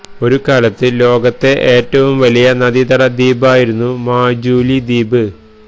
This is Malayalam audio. ഒരു കാലത്ത് ലോകത്തെ ഏറ്റവും വലിയ നദീതട ദ്വീപായിരുന്നു മാജൂലി ദ്വീപ്